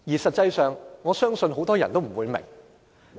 實際上，我相信很多人也不明白。